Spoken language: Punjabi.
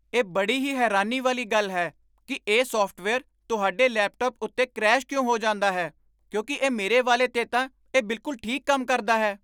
ਇਹ ਬੜੀ ਹੀ ਹੈਰਾਨੀ ਵਾਲੀ ਗੱਲ ਹੈ ਕਿ ਇਹ ਸਾਫਟਵੇਅਰ ਤੁਹਾਡੇ ਲੈਪਟਾਪ ਉੱਤੇ ਕਰੈਸ਼ ਕਿਉਂ ਹੋ ਜਾਂਦਾ ਹੈ ਕਿਉਂਕਿ ਇਹ ਮੇਰੇ ਵਾਲੇ 'ਤੇ ਤਾਂ ਇਹ ਬਿਲਕੁਲ ਠੀਕ ਕੰਮ ਕਰਦਾ ਹੈ।